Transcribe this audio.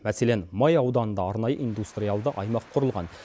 мәселен май ауданында арнайы индустриялды аймақ құрылған